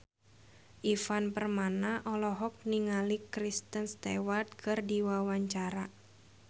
Ivan Permana olohok ningali Kristen Stewart keur diwawancara